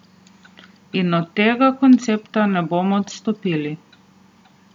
In od tega koncepta ne bomo odstopili.